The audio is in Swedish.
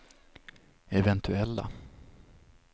eventuella